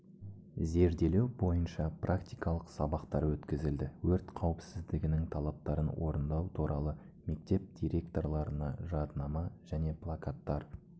зерделеу бойынша практикалық сабақтар өткізілді өрт қауіпсіздігінің талаптарын орындау туралы мектеп директорларына жаднама және плакаттар